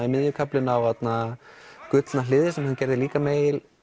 í miðju kaflinn á gullna hliðið sem hann gerði líka með